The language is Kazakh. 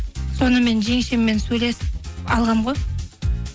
сонымен жеңшеммен сөйлесіп алғанмын ғой